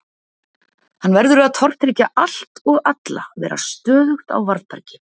Hann verður að tortryggja allt og alla, vera stöðugt á varðbergi.